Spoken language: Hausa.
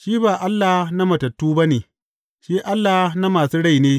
Shi ba Allah na matattu ba ne, shi Allah na masu rai ne.